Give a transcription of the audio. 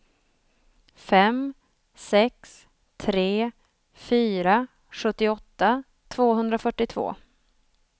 fem sex tre fyra sjuttioåtta tvåhundrafyrtiotvå